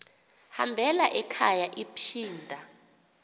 hambela ekhaya iphinda